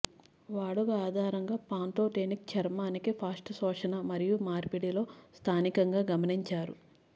వాడుక ఆధారంగా పాంతోతేనిక్ చర్మానికి ఫాస్ట్ శోషణ మరియు మార్పిడి లో స్థానికంగా గమనించారు